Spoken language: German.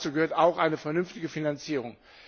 Dazu gehört auch eine vernünftige Finanzierung.